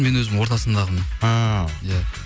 мен өзім ортасындағымын ааа иә